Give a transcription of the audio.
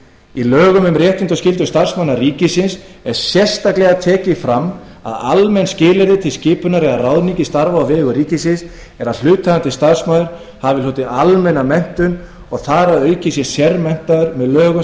í lögum um réttindi og skyldur starfsmanna ríkisins er sérstaklega tekið fram að almenn skilyrði til skipunar eða ráðningar í starf á vegum ríkisins eru að hlutaðeigandi starfsmaður hafi almenna menntun og þar að auki þá